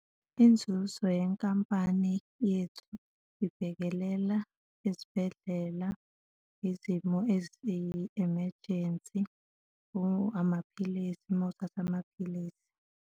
Inzuzo yenkampani yethu ibhekelela izibhedlela izimo eziyi-emergency, amaphilisi, uma uthatha amaphilisi.